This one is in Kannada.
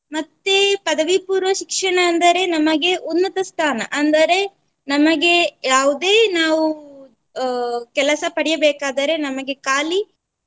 ಮತ್ತೆ ಪದವಿ ಪೂರ್ವ ಶಿಕ್ಷಣ ಅಂದರೆ ನಮಗೆ ಉನ್ನತ ಸ್ಥಾನ ಅಂದರೆ ನಮಗೆ ಯಾವುದೇ ನಾವು ಅಹ್ ಕೆಲಸ ಪಡಿಯಬೇಕಾದರೆ ನಮಗೆ ಖಾಲಿ